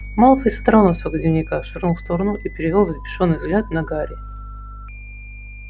малфой содрал носок с дневника швырнул в сторону и перевёл взбешённый взгляд на гарри